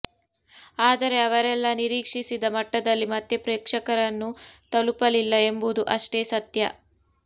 ಆದರೆ ಅವರೆಲ್ಲಾ ನಿರೀಕ್ಷಿಸಿದ ಮಟ್ಟದಲ್ಲಿ ಮತ್ತೆ ಪ್ರೇಕ್ಷಕರನ್ನು ತಲುಪಲಿಲ್ಲ ಎಂಬುದು ಅಷ್ಟೇ ಸತ್ಯ